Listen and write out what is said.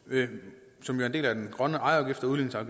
som en del af den grønne ejerafgift og